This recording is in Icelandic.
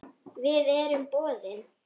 Við erum boðin.